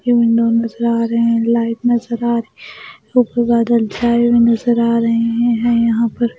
नज़र आ रहे हैं लाइट नज़र आ र ऊपर बादल छाए हुए नज़र आ रहे हैं हैं यहाँ पर --